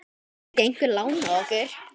Gæti ekki einhver lánað okkur?